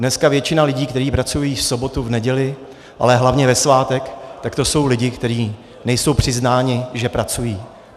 Dneska většina lidí, kteří pracují v sobotu, v neděli, ale hlavně ve svátek, tak to jsou lidi, kteří nejsou přiznáni, že pracují.